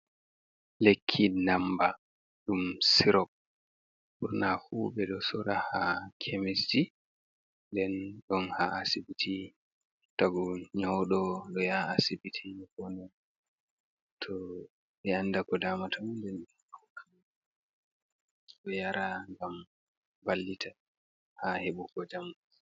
Lekki ndammba ɗum ''sirop'', ɓurnaa fuu ɓe ɗo soora haa kemisji, nden ɗon haa asibiti tagu nyawɗo ɗo yaha asibiti ɓe poonda, too ɓe annda ko daamata ɗum nden hokka mo o yara ngam wallita haa heɓugo njamui.